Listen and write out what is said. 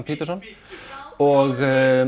Peterson og